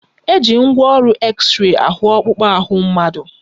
Eji ngwaọrụ exrey ahụ ọkpụkpụ ahụ mmadụ.